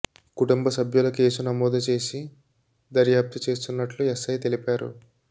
కుటుంబ సభ్యుల కేసు నమోదు చేసి దర్యాప్తు చేస్తున్నట్లు ఎస్ఐ తెలిపారు